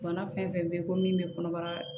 Bana fɛn fɛn bɛ ko min bɛ kɔnɔbara